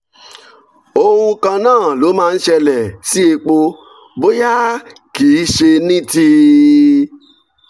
ohun kan náà ló máa ń ṣẹlẹ̀ sí epo bóyá kì í í ṣe ní ti